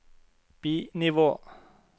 bi-nivå